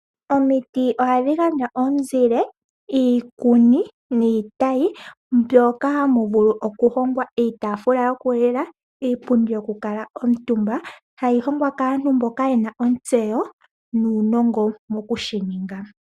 Omiti ohadhigandja omuzile, iikuni, niitayi mbyoka hamuvulu okuhogwa iitaafula yokulila, iipundu yoku kuutumba hayihogwa kaantu mboka yena ontseyo nuunongo wokushininga.